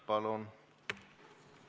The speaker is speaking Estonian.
Palun!